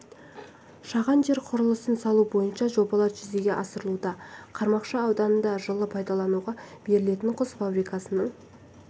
әкімнің айтуынша облыста ет экспортын одан әрі арттыру мақсатында облыста екі ет комбинаты сыр маржаны және